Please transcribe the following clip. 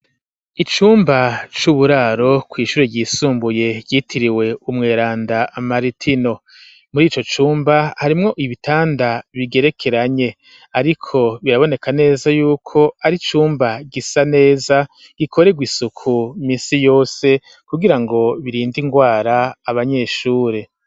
Icumba c'uburaro kw'ishuri ryisumbuye ryitiriwe umweranda maritino muri ico cumba harimwo ibitanda bigerekeranye ariko biraboneka neza yuko ari icumba gisa neza gikorerwa isuku misi yose kugira ngo birinde ingwara abanyeshure